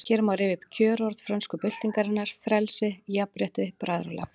Hér má rifja upp kjörorð frönsku byltingarinnar: Frelsi, jafnrétti, bræðralag